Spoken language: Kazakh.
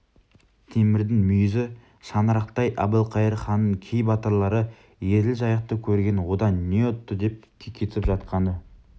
темірдің мүйізі шаңырақтай әбілқайыр ханның кей батырлары еділ жайықты көрген одан не ұтты деп кекетіп жатқаны